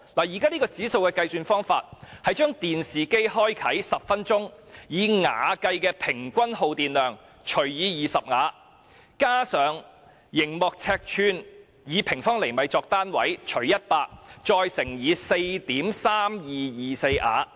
現時，指數的計數方法是在電視機開啟10分鐘後，把以瓦計的平均耗電量除以20瓦，加上熒幕尺寸，除以100再乘以 4.3224 瓦。